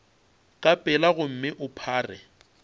ka pela gomme o phare